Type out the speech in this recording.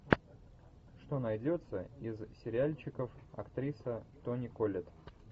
что найдется из сериальчиков актриса тони коллетт